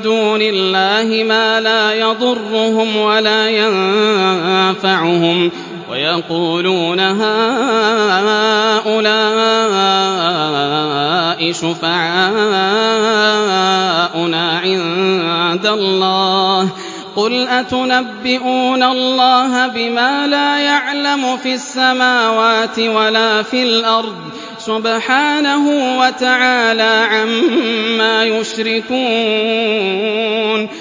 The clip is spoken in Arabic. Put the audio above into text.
دُونِ اللَّهِ مَا لَا يَضُرُّهُمْ وَلَا يَنفَعُهُمْ وَيَقُولُونَ هَٰؤُلَاءِ شُفَعَاؤُنَا عِندَ اللَّهِ ۚ قُلْ أَتُنَبِّئُونَ اللَّهَ بِمَا لَا يَعْلَمُ فِي السَّمَاوَاتِ وَلَا فِي الْأَرْضِ ۚ سُبْحَانَهُ وَتَعَالَىٰ عَمَّا يُشْرِكُونَ